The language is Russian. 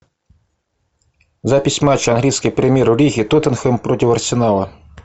запись матча английской премьер лиги тоттенхэм против арсенала